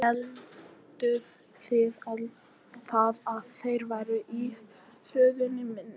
Hélduð þið að þeir væru í hlöðunni minni?